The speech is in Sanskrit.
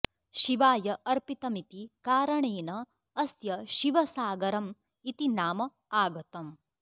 शिवाय अर्पितमिति कारणेन अस्य शिवसागरम् इति नाम आगतम्